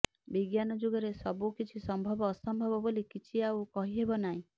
ବିଜ୍ଞାନ ଯୁଗରେ ସବୁ କିଛି ସମ୍ଭବ ଅସମ୍ଭବ ବୋଲି କିଛି ଆଉ କହିହେବନାହିଁ